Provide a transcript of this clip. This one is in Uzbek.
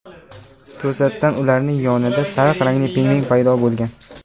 To‘satdan ularning yonida sariq rangli pingvin paydo bo‘lgan.